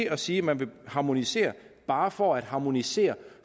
at sige at man vil harmonisere bare for at harmonisere